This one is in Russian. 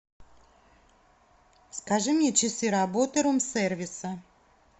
скажи мне часы работы рум сервиса